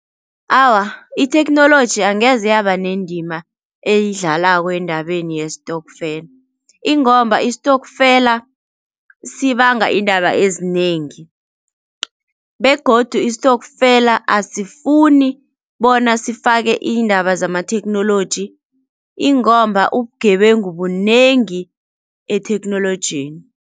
Awa, itheknoloji angeze yaba nendima eyidlalako endabeni yestokfela ingomba istokfela sibanga iindaba ezinengi begodu istokfela asifuni bona sifake iindaba zamatheknoloji ingomba ubugebengu bunengi etheknolojini.